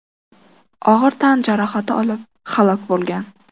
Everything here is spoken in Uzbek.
og‘ir tan jarohati olib halok bo‘lgan.